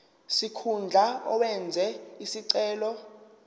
sikhundla owenze isicelo